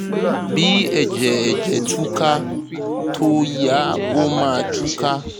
bí ẹ̀jẹ̀ ẹ̀jẹ̀ tú ká tó yá ó máa tú ká